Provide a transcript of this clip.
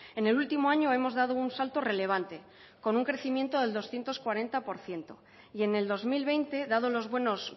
en el último año hemos dado un salto relevante con un crecimiento del doscientos cuarenta por ciento y en el dos mil veinte dado los buenos